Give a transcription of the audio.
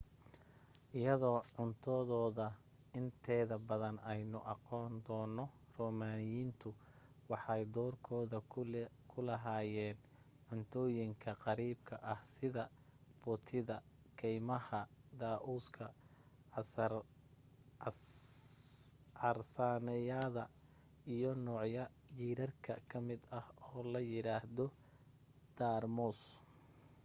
iyadoo cuntadooda inteeda badan aynu aqoon doono roomaaniyiintu waxay doorkooda ku lahaayeen cuntooyinka qariibka ah sida butida keymaha daa'uuska carsaanyada iyo nooc jiirarka ka mid ah oo la yidhaahdo daarmoos